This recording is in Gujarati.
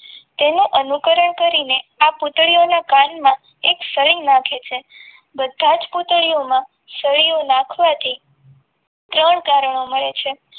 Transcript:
એમાં અનુકરણ કરીને આ પુત્રીઓના કાનમાં એક સળી નાખે છે બધા જ પૂતળીઓમાં સળીયો નાખવાથી ત્રણ કારણો મળે છે.